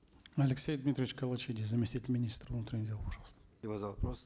алексей дмитриевич калачиди заместитель министра внутренних дел пожалуйста за вопрос